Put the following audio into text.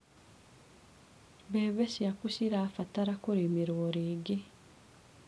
Mbembe ciaku cirabatara kũrĩmĩrwo rĩngĩ.